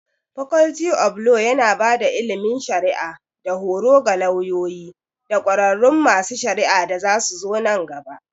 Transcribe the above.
Faculty of Law yana ba da ilimin shari'a da horo ga lauyoyi da ƙwararrun masu shari'a da zasuzo nan gaba.